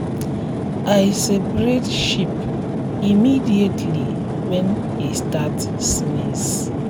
i separate sheep immediately when e start sneeze.